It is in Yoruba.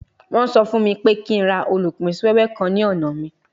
Wọ́n sọ fún mi pé kí n ra olupin si wewe kan ní ọ̀nà mi